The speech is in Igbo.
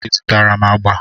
I zutara m agba?